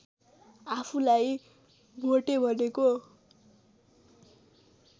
आफूलाई भोटे भनेको